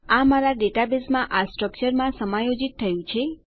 આ મારા ડેટાબેઝમાં આ સ્ટ્રક્ચરમાં સમાયોજિત થયું છે